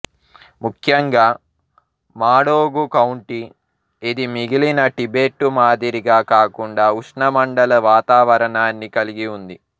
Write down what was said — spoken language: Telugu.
ముఖ్యంగా మాడోగు కౌంటీ ఇది మిగిలిన టిబెట్టు మాదిరిగా కాకుండా ఉష్ణమండల వాతావరణాన్ని కలిగి ఉంది